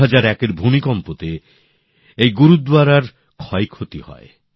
২০০১ এর ভূমিকম্পে এই গুরুদ্বারেরও ক্ষয়ক্ষতি হয়